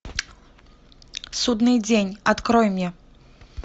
судный день открой мне